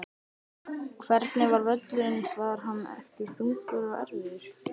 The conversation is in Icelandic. Hvernig var völlurinn var hann ekki þungur og erfiður?